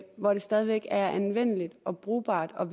hvor det stadig væk er anvendeligt og brugbart og